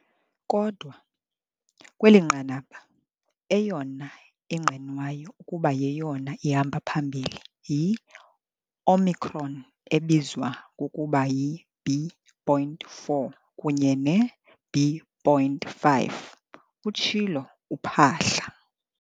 "Kodwa, kweli nqanaba, eyona ingqinwayo ukuba yeyona ihamba phambili yi-Omicron ebizwa ngokuba yi-B.4 kunye ne-B.5," utshilo uPhaahla.